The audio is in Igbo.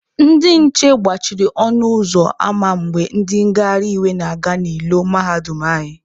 Ndị nche gbachiri ọnụ ụzọ ama mgbe ndị ngagharị iwe na-aga n'ilo mahadum anyị.